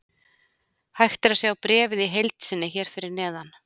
Hægt er að sjá bréfið í heild sinni hér fyrir neðan.